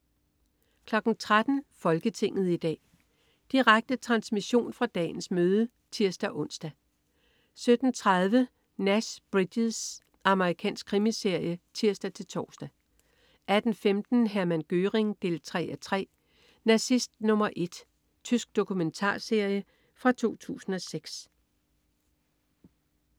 13.00 Folketinget i dag. Direkte transmission fra dagens møde (tirs-ons) 17.30 Nash Bridges. Amerikansk krimiserie (tirs-tors) 18.15 Hermann Göring 3:3. "Nazist nummer et". Tysk dokumentarserie fra 2006